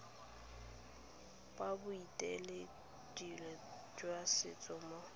sa boeteledipele jwa setso mo